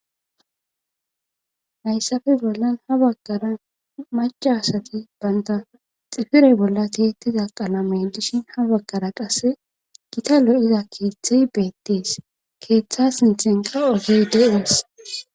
Hayssafe bollan ha bakara maca asati baynta xifirey bolla tiettiza qalame dishin ha bakara qasse gita lo7iza keeththey beettees keeththas nithenqa ogey de7ees